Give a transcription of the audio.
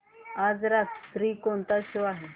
आज रात्री वर कोणता शो आहे